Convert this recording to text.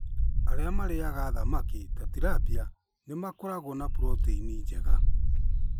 Arĩa marĩĩaga thamaki ta tilapia nĩ makoragwo na puroteini njega.